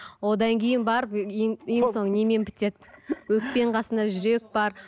одан кейін барып ең ең соңы немен бітеді өкпенің қасында жүрек бар